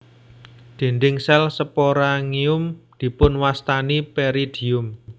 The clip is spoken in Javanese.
Dinding sel sporangium dipunwastani peridium